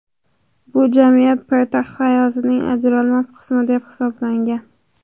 Bu jamiyat poytaxt hayotining ajralmas qismi deb hisoblangan.